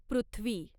पृथ्वी